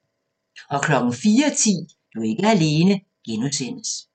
04:10: Du er ikke alene (G)